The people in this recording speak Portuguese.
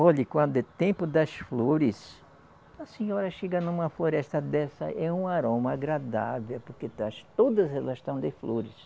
Olhe, quando é tempo das flores, a senhora chega numa floresta dessa, é um aroma agradável, porque todas elas estão de flores.